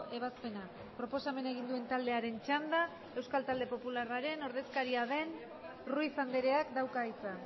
ebazpena proposamena egin duen taldearen txanda euskal talde popularraren ordezkaria den ruiz andreak dauka hitza